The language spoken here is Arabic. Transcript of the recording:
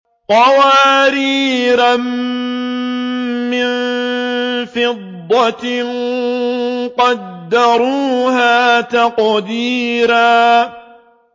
قَوَارِيرَ مِن فِضَّةٍ قَدَّرُوهَا تَقْدِيرًا